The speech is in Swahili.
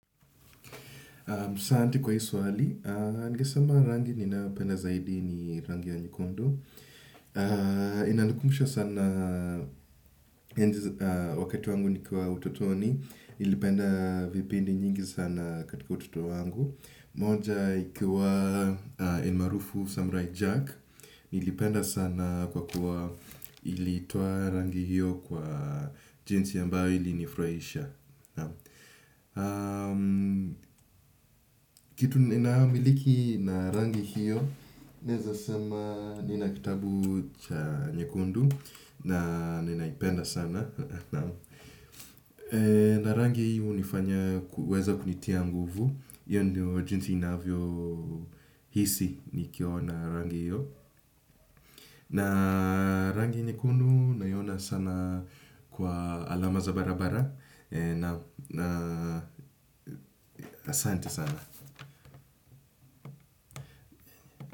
Sharti kwa hii swali, ningesema rangi ninayopenda zaidi ni rangi ya nyekundu. Inanikumbusha sana wakati wangu nikiwa utotoni, nilipenda vipindi nyingi sana katika utoto wangu. Moja ikiwa almarufu Samurai Jack, nilipenda sana kwa kuwa ilitoa rangi hiyo kwa jinsi ambayo ilinifurahisha. Kitu ninamiliki na rangi hiyo, naeza sema nina kitabu cha nyekundu. Na ninaipenda sana. Na rangi hiyo hunifanya kuweza kunitia nguvu. Hiyo ndio jinsi inavyo hisi nikiona rangi hiyo. Na rangi nyekundu naiona sana kwa alama za barabara na asante sana.